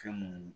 Fɛn mun